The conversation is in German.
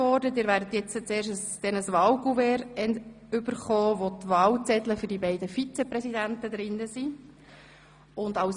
Sie werden ein Wahlcouvert erhalten, welches die Wahlzettel für die beiden Vizepräsidenten des Grossen Rats enthält.